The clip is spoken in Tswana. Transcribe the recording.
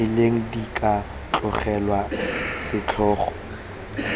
rileng di ka tlogelwa setlhogo